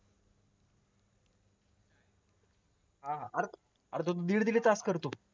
हा हा अर तो दीड दीड तास करतो